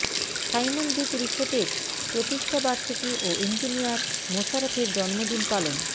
Simon beach রিসোর্টের প্রতিষ্ঠাবার্ষিকী ও ইঞ্জিনিয়ার মোশারফের জন্মদিন পালন